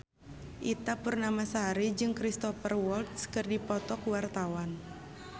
Ita Purnamasari jeung Cristhoper Waltz keur dipoto ku wartawan